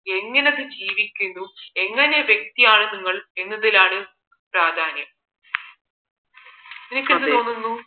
എങ്ങനെയൊക്കെ ജീവിക്കുന്നു എങ്ങനെയുള്ള വ്യക്തിയാണ് നിങ്ങൾ എന്നതിലാണ് പ്രാധാന്യം നിനക്ക് എന്ത് തോന്നുന്നു